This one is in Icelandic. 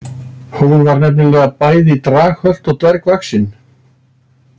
Hún var nefnilega bæði draghölt og dvergvaxin.